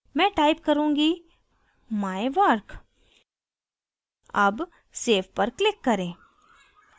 मैं type करुँगी mywork अब save पर click करें